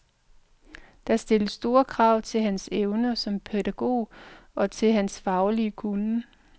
Det stiller store krav til hans evner som pædagog og til hans faglige kunnen.